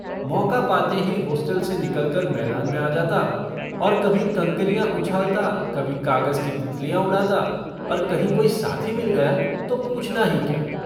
मौका पाते ही होस्टल से निकलकर मैदान में आ जाता और कभी कंकरियाँ उछालता कभी कागज की तितलियाँ उड़ाता और कहीं कोई साथी मिल गया तो पूछना ही क्या।